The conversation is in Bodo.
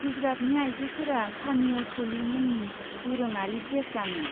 गुजरातनि आइजोफोरा चानिय' चलि मुंनि दोरोङारि ड्रेस गानो।